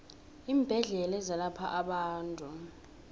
iimbedlela ezelapha abantu